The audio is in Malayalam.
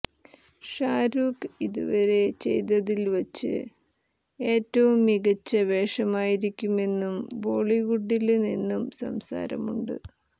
ഷാരൂഖ് ഇതുവരെ ചെയ്തതില് വച്ച് ഏറ്റവും മികച്ച വേഷമായിരിക്കുമെന്നും ബോളിവുഡില് നിന്ന് സംസാരമുണ്ട്